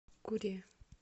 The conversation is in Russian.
куре